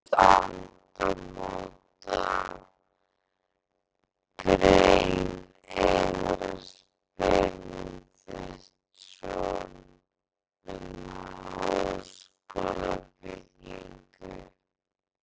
Fram til síðustu aldamóta- Grein Einars Benediktssonar um háskólabyggingu